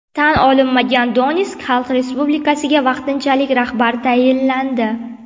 Tan olinmagan Donetsk xalq respublikasiga vaqtinchalik rahbar tayinlandi.